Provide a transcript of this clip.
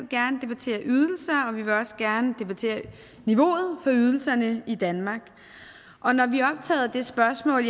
gerne debattere ydelser og vi vil også gerne debattere niveauet for ydelserne i danmark og når vi er optaget af det spørgsmål